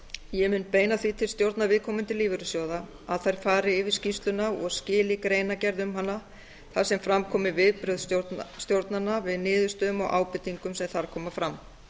ég mun beina því til stjórna viðkomandi lífeyrissjóða að þær fari yfir skýrsluna og skili greinargerð um hana þar sem fram komi viðbrögð stjórnanna við niðurstöðum og ábendingum sem þar koma fram